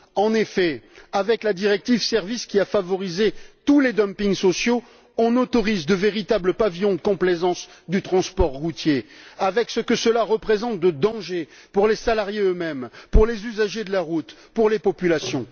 En effet, avec la directive sur les services, qui a favorisé tous les dumpings sociaux, nous autorisons de véritables pavillons de complaisance du transport routier, avec ce que cela représente comme danger pour les salariés eux mêmes, pour les usagers de la route, pour les populations.